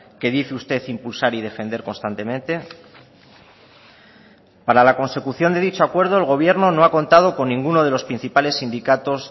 que dice usted impulsar y defender constantemente para la consecución de dicho acuerdo el gobierno no ha contado con ninguno de los principales sindicatos